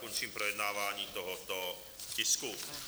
Končím projednávání tohoto tisku.